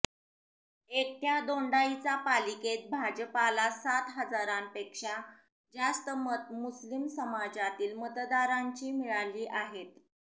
एकट्या दोंडाईचा पालिकेत भाजपाला सात हजारापेक्षा जास्त मत मुस्लिम समाजातील मतदारांची मिळाली आहेत